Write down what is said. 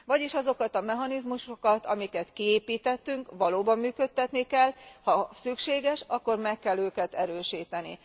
Vagyis azokat a mechanizmusokat, amelyeket kiépítettünk, valóban működtetni kell, ha szükséges, akkor meg kell őket erősíteni.